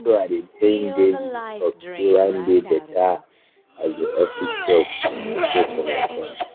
na so i dey grind daily with hope say one day better um office job go show for my front.